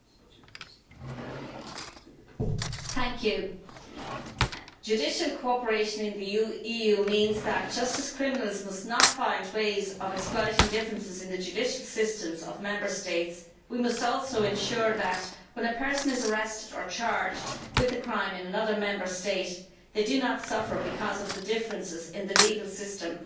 Mr President, judicial cooperation in the EU means that, just as criminals must not find ways of exploiting differences in the judicial systems of Member States, we must also ensure that people who are arrested or charged with a crime in another Member State do not suffer because of the differences in the legal systems.